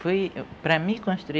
Foi... para me construir